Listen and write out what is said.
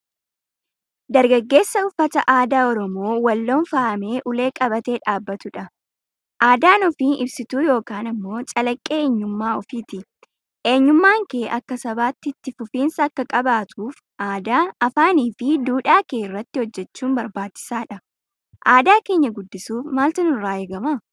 Dargaggeessa uffata aadaa Oromoo Walloon faayamee ulee qabatee dhaabbatudha. Aadaan ofii ibsituu yookaan ammoo calaqqee eenyummaa ofiiti. Eenyummaan kee akka sabaatti itti fufinsa akka qabaatuuf aadaa, afaanii fi duudhaa kee irratti hojjechuun barbaachisaadha. Aadaa keenya guddisuuf maaltu nurraa eegama?